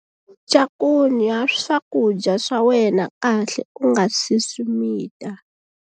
Cakunya swakudya swa wena kahle u nga si swi mita.